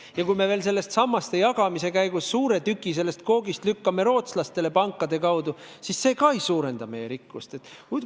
Ja kui me veel selle sammaste jagamise käigus suure tüki koogist lükkame pankade kaudu rootslastele, siis see ka ei suurenda meie rikkust.